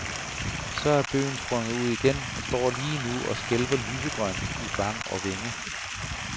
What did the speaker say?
Så er bøgen sprunget ud igen og står lige nu og skælver lysegrønt i vang og vænge.